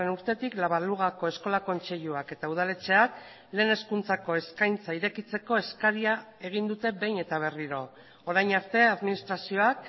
urtetik la balugako eskola kontseiluak eta udaletxeak lehen hezkuntzako eskaintza irekitzeko eskaria egin dute behin eta berriro orain arte administrazioak